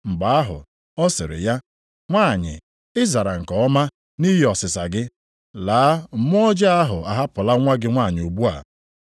Mgbe ahụ, ọ sịrị ya, “Nwanyị, ị zara nke ọma, nʼihi ọsịsa gị, laa, mmụọ ọjọọ ahụ ahapụla nwa gị nwanyị ugbu a.”